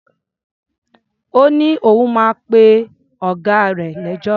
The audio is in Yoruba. Ó ní òun máa pe ọ̀gá rè lẹ́jọ́.